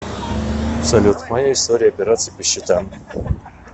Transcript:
салют моя история операций по счетам